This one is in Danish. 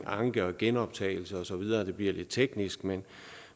anke og genoptagelse og så videre det bliver lidt teknisk